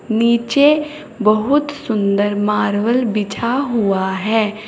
नीचे बहुत सुंदर मार्वल बिछा हुआ है।